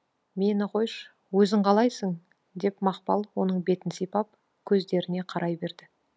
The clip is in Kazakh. мені қойшы өзің қалайсың деп мақпал оның бетін сипап көздеріне қарай берді